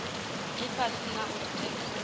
ifhasi na u ri tendela